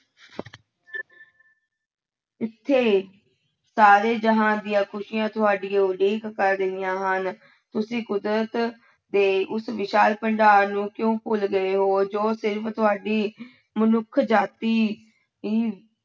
ਇੱਥੇ ਸਾਰੇ ਜਹਾਨ ਦੀਆਂ ਖ਼ੁਸ਼ੀਆਂ ਤੁਹਾਡੀ ਉਡੀਕ ਕਰ ਰਹੀਆਂ ਹਨ, ਤੁਸੀਂ ਕੁਦਰਤ ਦੇ ਉਸ ਵਿਸ਼ਾਲ ਭੰਡਾਰ ਨੂੰ ਕਿਉਂ ਭੁੱਲ ਗਏ ਹੋ ਜੋ ਸਿਰਫ਼ ਤੁਹਾਡੀ ਮਨੁੱਖ ਜਾਤੀ ਹੀ